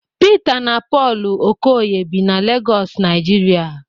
Pita na Pọlụ Okoye bi na Legọs Naijiria